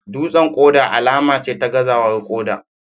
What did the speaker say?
Dutsen koda alama ce ta gazawar koda